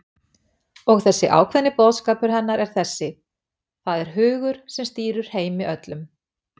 Og þessi ákveðni boðskapur hennar er þessi: Það er hugur, sem stýrir heimi öllum.